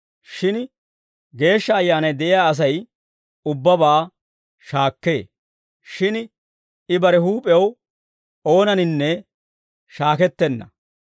Shin Geeshsha Ayyaanay de'iyaa Asay ubbabaa shaakkee; shin I bare huup'ew oonaninne shaakettenna.